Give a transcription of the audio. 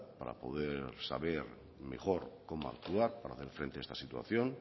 para poder saber mejor cómo actuar para hacer frente a esta situación